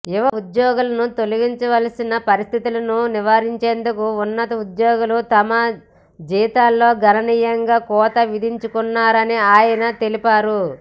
యువ ఉద్యోగులను తొలగించాల్సిన పరిస్థితులను నివారించేందుకు ఉన్నతోద్యోగులు తమ జీతాల్లో గణనీయంగా కోత విధించుకున్నారని ఆయన తెలిపారు